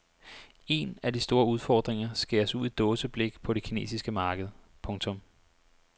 Én af de store udfordringer skæres ud i dåseblik på det kinesiske marked. punktum